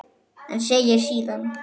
En segir síðan